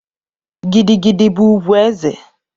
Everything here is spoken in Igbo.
Gidi gidi bụ ugwu eze